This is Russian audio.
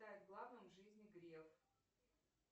главным в жизни греф